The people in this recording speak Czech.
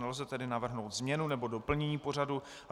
Nelze tedy navrhnout změnu nebo doplnění pořadu.